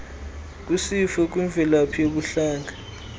kwisifo kwimvelaphi yobuhlanga